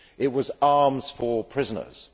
It was arms for prisoners.